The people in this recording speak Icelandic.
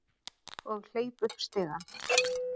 Og hleyp upp stigann.